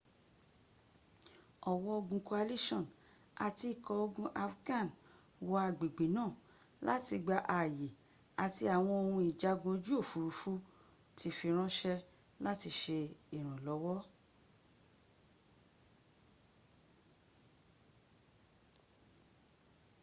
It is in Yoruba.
ọ̀wọ́ ogun coalition àti ikọ̀ ogun afghan wọ agbègbè náà láti gba ààyè àti àwọn ohun ìjagun ojú òfúrufú ti fi rànṣẹ́ láti ṣe ìrànlọ́wọ́